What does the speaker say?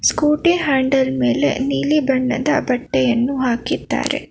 Scooty handle ಮೇಲೆ ನೀಲಿ ಬಣ್ಣದ ಬಟ್ಟೆಯನ್ನು ಹಾಕಿದ್ದಾರೆ.